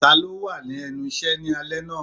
Ta ló wà lẹ́nu iṣẹ́ ni alẹ́ náà?